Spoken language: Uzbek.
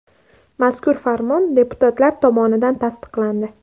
Mazkur farmon deputatlar tomonidan tasdiqlandi.